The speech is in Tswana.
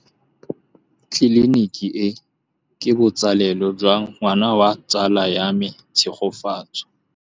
Tleliniki e, ke botsalêlô jwa ngwana wa tsala ya me Tshegofatso.